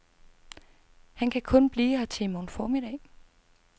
Han kan kun blive her til i morgen formiddag.